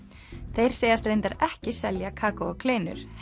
þeir segjast reyndar ekki selja kakó og kleinur